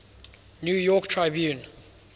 new york tribune